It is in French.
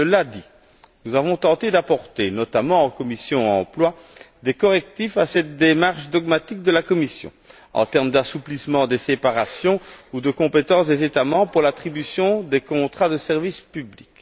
Cela dit, nous avons tenté d'apporter, notamment en commission Emploi, des correctifs à cette démarche dogmatique de la Commission, en termes d'assouplissement des séparations ou de compétences des États membres pour l'attribution des contrats de service public.